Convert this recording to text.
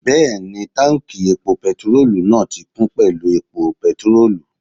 Bẹ́ẹ̀ni, táùnkì epo pẹtirólù náà ti kún pẹ̀lú epo pẹtirólù